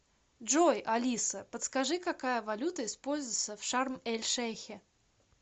джой алиса подскажи какая валюта используется в шарм эль шейхе